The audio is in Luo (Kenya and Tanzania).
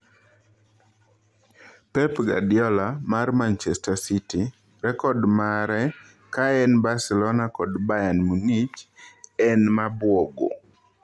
Pep Guardiola, mar Manchester City, rekod mare ka en Barcelona kod Bayern Munich 'en mabuogo'